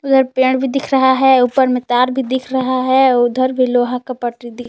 उधर पेड़ भी दिख रहा है ऊपर में तार भी दिख रहा है उधर भी लोहा का पटरी दिख--